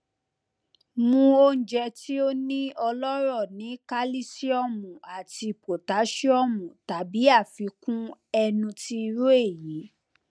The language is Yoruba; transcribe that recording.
mu ounjẹ ti o ni ọlọrọ ni kalisiomu ati potasiomu tabi afikun ẹnu ti iru eyi